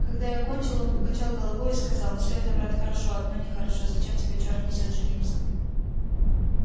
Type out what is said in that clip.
когда я кончил он покачал головою и сказал все это брат хорошо одно нехорошо зачем тебя черт несёт жениться